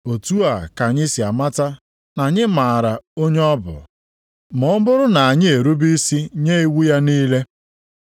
Otu a ka anyị si amata na anyị maara onye ọ bụ, ma ọ bụrụ na anyị erube isi nye iwu ya niile.